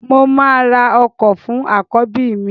Mo máa ra ọkọ fún àkọ́bí mi